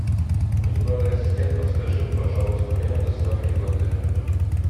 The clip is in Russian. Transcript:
виртуальный ассистент подскажи пожалуйста время доставки в отеле